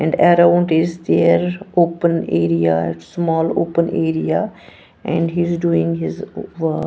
And around is there open area small open area and he is doing his wo--